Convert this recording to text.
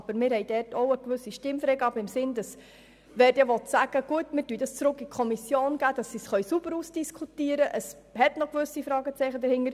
Wir haben aber Stimmfreigabe beschlossen im Sinne von: Diese Frage soll zurück an die Kommission gegeben werden, damit sie sauber ausdiskutiert werden kann, weil gewisse Fragezeichen bestehen.